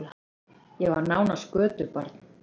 Ég var nánast götubarn.